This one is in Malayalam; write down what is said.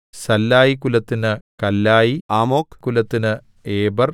സല്ലായികുലത്തിന് കല്ലായി ആമോക് കുലത്തിന് ഏബെർ